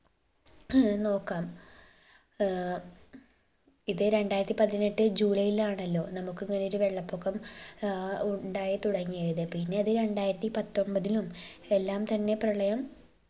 ഏർ നോക്കാം ഏർ ഇത് രണ്ടായിരത്തി പതിനെട്ട് ജൂലൈലാണല്ലോ നമുക്ക് ഇങ്ങനൊരു വെള്ളപൊക്കം ഏർ ഉണ്ടായിത്തുടങ്ങിയത് പിന്നെയത് രണ്ടായിരത്തിപത്തൊൻപതിലും എല്ലാം തന്നെ പ്രളയം